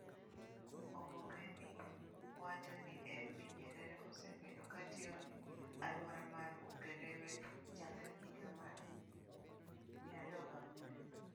Oboke ni wacho ni MV Nyerere osebedo ka tiyo ne aluora mar Ukerewe chakre higa mar 2004.